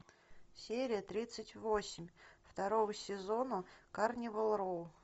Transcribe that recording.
серия тридцать восемь второго сезона карнивал роу